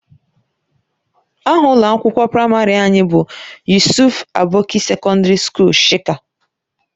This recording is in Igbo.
Aha ụlọ akwụkwọ praịmarị anyị bụ Yusuf Aboki Sekọndiri Sukuul Shika.